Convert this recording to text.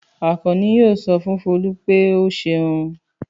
Àkànní yóò sọ fún Folú pé ó ṣeun.